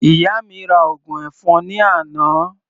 Ìyá mi ra ògùn ẹ̀fọn ní àná.